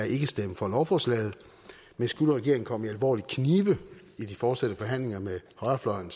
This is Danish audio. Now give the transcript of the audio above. ikke stemme for lovforslaget men skulle regeringen komme i alvorlig knibe i de fortsatte forhandlinger med højrefløjen